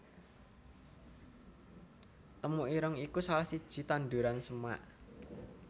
Temu ireng iku salah siji tanduran semak